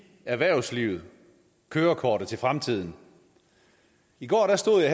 erhvervslivet kørekortet til fremtiden i går stod jeg